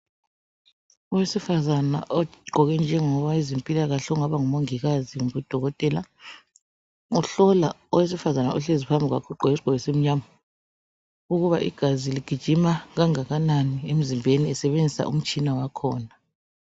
Owesifazana ogqoke njengo wezempilakahle ongaba ngumongikazi kumbe udokotela uhlola omunye owesifazana ohleli phambi kwakhe, ogqoke isikipa esimnyama ukuthi igazi ligijima okunganani emzimbeni esebenzisa umtshina wakhona.